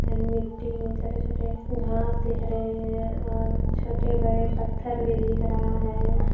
इधर मिट्टी में छोटे छोटे घांस दिख रहे हैं और छोटे बड़े पत्थर भी दिख रहा है।